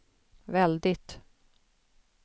väldigt